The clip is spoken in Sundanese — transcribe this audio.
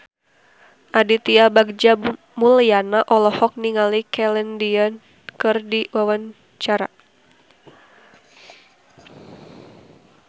Aditya Bagja Mulyana olohok ningali Celine Dion keur diwawancara